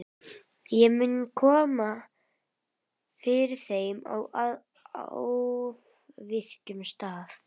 Ég mun koma þeim fyrir á afviknum stað.